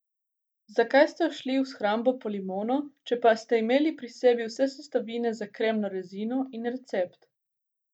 Zakaj ste odšli v shrambo po limono, če pa ste imeli pri sebi vse sestavine za kremno rezino in recept?